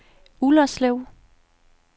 Ullerslev